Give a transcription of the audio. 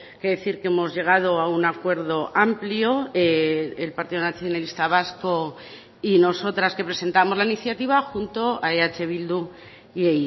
que decir que hemos llegado a un acuerdo amplio el partido nacionalista vasco y nosotras que presentamos la iniciativa junto a eh bildu y